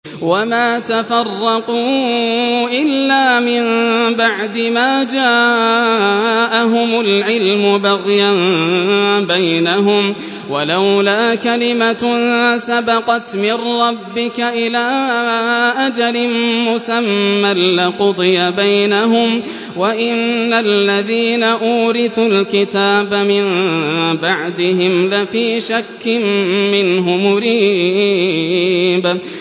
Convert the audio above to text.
وَمَا تَفَرَّقُوا إِلَّا مِن بَعْدِ مَا جَاءَهُمُ الْعِلْمُ بَغْيًا بَيْنَهُمْ ۚ وَلَوْلَا كَلِمَةٌ سَبَقَتْ مِن رَّبِّكَ إِلَىٰ أَجَلٍ مُّسَمًّى لَّقُضِيَ بَيْنَهُمْ ۚ وَإِنَّ الَّذِينَ أُورِثُوا الْكِتَابَ مِن بَعْدِهِمْ لَفِي شَكٍّ مِّنْهُ مُرِيبٍ